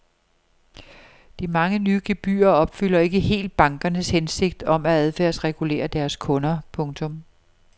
De mange nye gebyrer opfylder ikke helt bankernes hensigt om at adfærdsregulere deres kunder. punktum